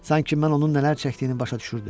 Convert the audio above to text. Sanki mən onun nələr çəkdiyini başa düşürdüm.